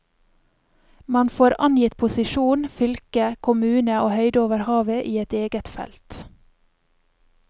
Man får angitt posisjon, fylke, kommune og høyde over havet i et eget felt.